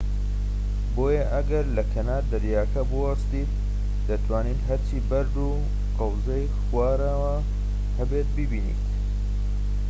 بۆیە ئەگەر لە کەنار دەریاکە بوەستیت، دەتوانیت هەرچی بەرد و قەوزەی خوارەوە هەیە ببینیت‎